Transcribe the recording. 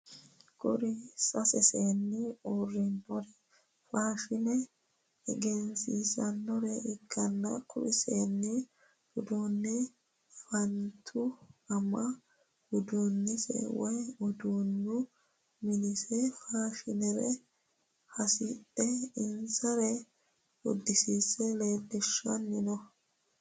kuri sase seeni uurinori faashine egeensisannore ikkanna kuri seeni uduune fa'nitu ama udunise woy uduunu minise afamasera hasidhe insara uddisiisse leellishshanni no